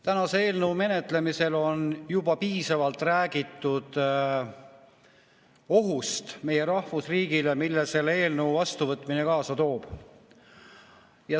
Tänase eelnõu menetlemisel on juba piisavalt räägitud ohust meie rahvusriigile, mille selle eelnõu vastuvõtmine kaasa toob.